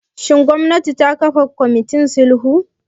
Shin gwamnati ta kafa kwamitin sulhu?